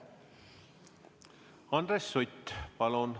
Andres Sutt, palun!